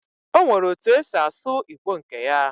Onwere otu osi asu Igbo nke ya